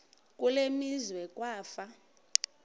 kule meazwe kwafa